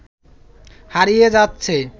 হারিয়ে যাচ্ছে